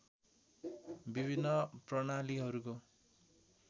विभिन्न प्रणालीहरूको